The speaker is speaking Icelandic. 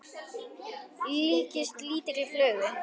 líkist lítilli flugu.